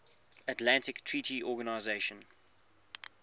atlantic treaty organisation